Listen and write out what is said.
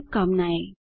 शुभकामनाएँ